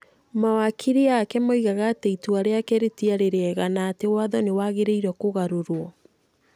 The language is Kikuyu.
Mawakiri ake moigaga atĩ itua rĩake rĩtiarĩ rĩega na atĩ watho nĩ wagĩrĩirũo kũgarũrũo.